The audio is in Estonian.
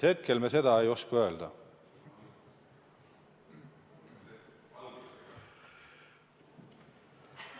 Hetkel ma seda ei oska öelda.